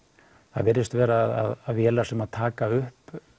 það virðist vera að vélar sem taka upp